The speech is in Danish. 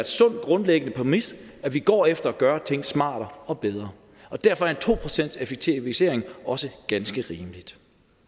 sund grundlæggende præmis at vi går efter at gøre ting smartere og bedre og derfor er en to procentseffektivisering også ganske rimelig